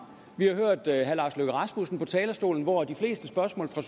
vi har hørt herre lars løkke rasmussen på talerstolen hvor de fleste spørgsmål fra